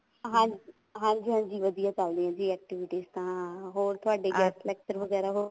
ਹਾਂਜੀ ਹਾਂਜੀ ਵਧੀਆ ਚੱਲ ਰਹੀਆਂ ਜੀ activities ਤਾਂ ਹੋਏ ਤੁਹਾਡੇ guest lecture ਵਗੈਰਾ